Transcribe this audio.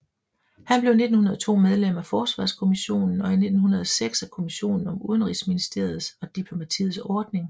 Han blev 1902 medlem af Forsvarskommissionen og 1906 af kommissionen om Udenrigsministeriets og diplomatiets ordning